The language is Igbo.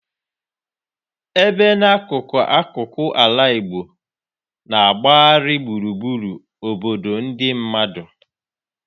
ebe n'akụkụ akụkụ ala Igbo na-agbagharị gburugburu obodo ndị mmadụ.